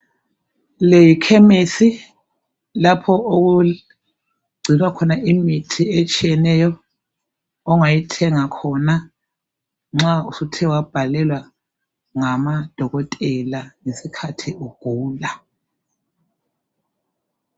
Le yikhemisi lapho okugcinwa khona imithi etshiyeneyo ongayithenga khona nxa suthe wabhalelwa ngamadokotela ngesikhathi ugula.